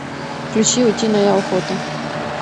включи утиная охота